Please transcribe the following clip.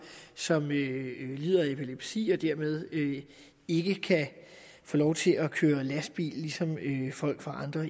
som lider af epilepsi og dermed ikke kan få lov til at køre lastbil ligesom folk fra andre